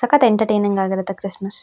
ಸಕ್ಕತ್ತ್ entertaining ಆಗಿರುತ್ತೆ Christmas .